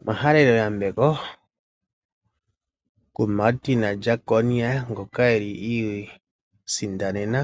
Omahalelo yambeko kuMartin Jeckonia ngoka a sindana